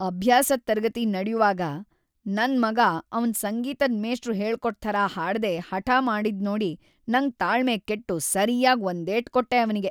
ಅಭ್ಯಾಸದ್ ತರಗತಿ ನಡ್ಯುವಾಗ ನನ್ ಮಗ ಅವ್ನ್ ಸಂಗೀತದ್‌ ಮೇಷ್ಟ್ರು ಹೇಳ್ಕೊಟ್ ಥರ ಹಾಡ್ದೇ ಹಠ ಮಾಡಿದ್ನೋಡಿ ನಂಗ್‌ ತಾಳ್ಮೆ ಕೆಟ್ಟು ಸರ್ಯಾಗ್ ಒಂದೇಟ್‌‌ ಕೊಟ್ಟೆ ಅವ್ನಿಗೆ.